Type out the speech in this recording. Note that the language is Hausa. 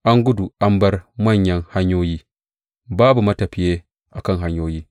An gudu an bar manyan hanyoyi, babu matafiye a kan hanyoyi.